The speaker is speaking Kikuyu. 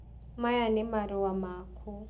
maya nĩ marũa maku.